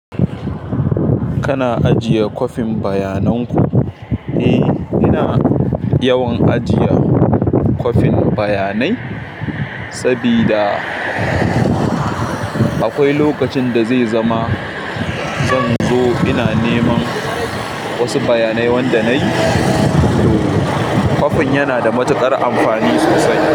Kana ajiye kofin bayanan ku? Eh, ina yawan ajiye kwafin bayanai sabida akwai lokacin da zai zama zan zo ina neman wasu bayanai wanda nayi, to kwafin yana da matuƙar amfani sosai.